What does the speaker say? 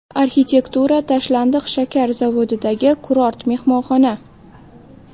Arxitektura: Tashlandiq shakar zavodidagi kurort mehmonxona .